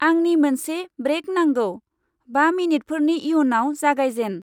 आंनि मोनसे ब्रैक नांगौ। बा मिनिटफोरनि इयुनाव जागायजेन।